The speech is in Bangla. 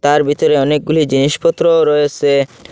তার ভিতরে অনেকগুলি জিনিসপত্র রয়েছে।